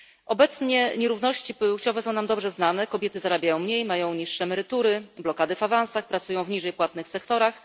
Obecnie nierówności płciowe są nam dobrze znane kobiety zarabiają mniej, mają niższe emerytury, blokady w awansach, pracują w niżej płatnych sektorach.